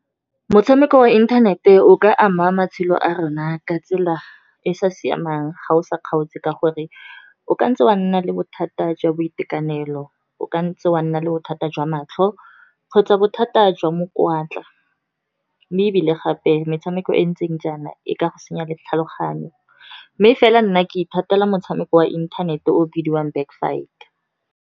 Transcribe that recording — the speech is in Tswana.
Motshameko wa inthanete o ka ama matshelo a rona ka tsela e e sa siamang ga o sa kgaotse. Ka gore o ka ntse wa nna le bothata jwa boitekanelo, o ka ntse wa nna le bothata jwa matlho kgotsa bothata jwa mokwatla. Mme ebile gape metshameko e ntseng jaana e ka go senya le tlhaloganyo, mme fela nna ke ithatela motshameko wa inthanete o bidiwang back fight.